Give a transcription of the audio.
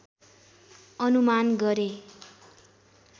अनुमान गरे